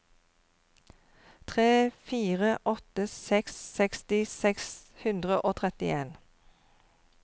tre fire åtte seks seksti seks hundre og trettien